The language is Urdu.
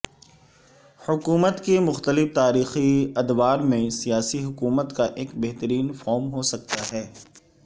حکومت کے مختلف تاریخی ادوار میں سیاسی حکومت کا ایک بہترین فارم ہو سکتا ہے